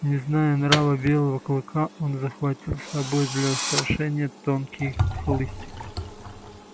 не зная нрава белого клыка он захватил с собой для устрашения тонкий хлыстик